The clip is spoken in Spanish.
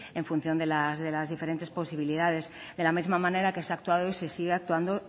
en función de las diferentes posibilidades de la misma manera que se ha actuado y se sigue actuando